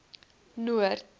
noord